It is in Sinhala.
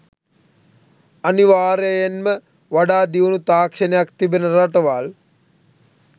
අනිවාර්යයෙන්ම වඩා දියුණු තාක්ෂණයක් තිබෙන රටවල්